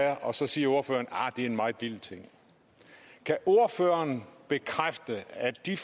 er og så siger ordføreren arh det er en meget lille ting kan ordføreren bekræfte at de